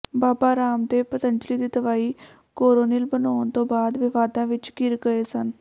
ਬਾਬਾ ਰਾਮਦੇਵ ਪਤੰਜ਼ਲੀ ਦੀ ਦਵਾਈ ਕੋਰੋਨਿਲ ਬਣਾਉਂਣ ਤੋਂ ਬਾਅਦ ਵਿਵਾਦਾਂ ਵਿਚ ਘਿਰ ਗਏ ਸਨ